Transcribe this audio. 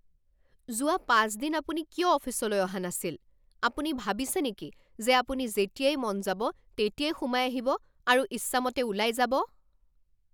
যোৱা পাঁচ দিন আপুনি কিয় অফিচলৈ অহা নাছিল? আপুনি ভাবিছে নেকি যে আপুনি যেতিয়াই মন যাব তেতিয়াই সোমাই আহিব আৰু ইচ্ছামতে ওলাই যাব?